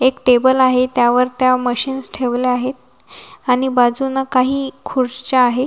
एक टेबल आहे त्यावर त्या मशीन्स ठेवले आहेत आणि बाजूंन काही खुर्च्या आहेत.